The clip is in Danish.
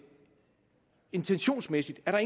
intentionsmæssigt er